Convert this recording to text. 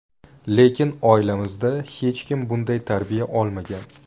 Lekin oilamizda hech kim bunday tarbiya olmagan.